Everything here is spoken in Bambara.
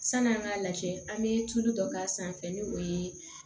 San'an k'a lajɛ an be tulu dɔ k'a sanfɛ ni o ye